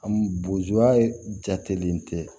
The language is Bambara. Bozoya jatelen tɛ